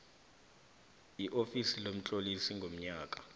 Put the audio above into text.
iofisi lomtlolisi ngonyaka